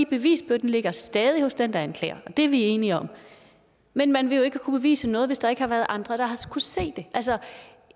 bevisbyrden ligger stadig hos den der anklager og det er vi enige om men man vil jo ikke kunne bevise noget hvis der ikke har været andre der har kunnet se det altså